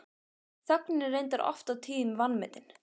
Þögnin er reyndar oft og tíðum vanmetin.